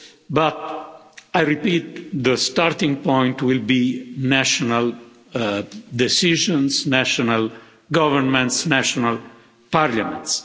But I repeat that the starting point will be national decisions, national governments and national parliaments.